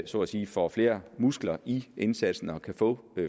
så at sige får flere muskler i indsatsen og kan få